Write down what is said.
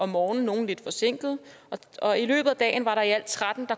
morgenen nogle lidt forsinket og i løbet af dagen var der i alt tretten